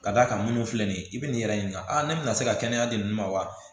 Ka d'a kan minnu filɛ nin ye i bɛ nin yɛrɛ ɲininka a ne bɛna se ka kɛnɛya de ninnu ma wa